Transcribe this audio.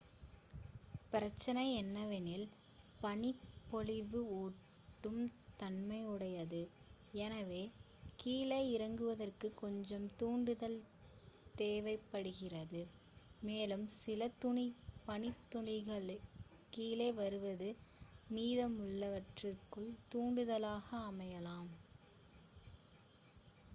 பிரச்சனை என்னவெனில் பனிப்பொழிவு ஒட்டும் தன்மையுடையது எனவே கீழே இறங்குவதற்குக் கொஞ்சம் தூண்டுதல் தேவைப்படுகிறது மேலும் சில பனித்துளிகள் கீழே வருவது மீதமுள்ளவற்றுக்குத் தூண்டுதலாக அமையலாம்